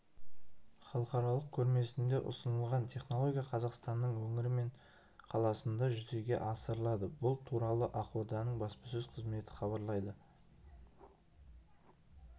халықаралық көрмесінде ұсынылған технология қазақстанның өңірі мен қаласында жүзеге асырылады бұл туралы ақорданың баспасөз қызметі хабарлайды